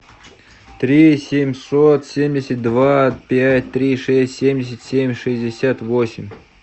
три семьсот семьдесят два пять три шесть семьдесят семь шестьдесят восемь